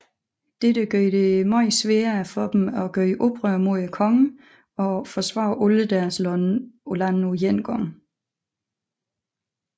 Dette gjorde det meget sværere for dem at gøre oprør mod kongen og forsvare alle deres lande på én gang